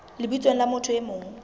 lebitsong la motho e mong